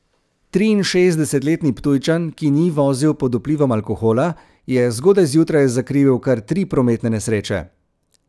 Triinšestdesetletni Ptujčan, ki ni vozil pod vplivom alkohola, je zgodaj zjutraj zakrivil kar tri prometne nesreče.